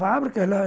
Fábrica